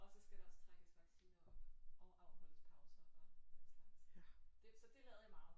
Og så skal der også trækkes vacciner op og afholdes pauser og den slags det så det lavede jeg meget